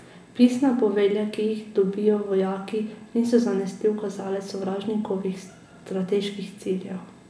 Pisna povelja, ki jih dobijo vojaki, niso zanesljiv kazalec sovražnikovih strateških ciljev.